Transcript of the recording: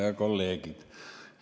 Head kolleegid!